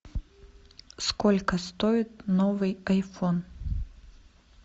сколько стоит новый айфон